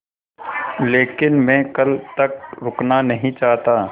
लेकिन मैं कल तक रुकना नहीं चाहता